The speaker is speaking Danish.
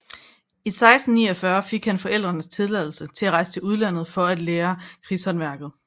I 1649 fik han forældrenes tilladelse til at rejse til udlandet for at lære krigshåndværket